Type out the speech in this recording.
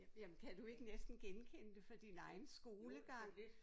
Jamen kan du ikke næsten genkende det fra sin egen skolegang?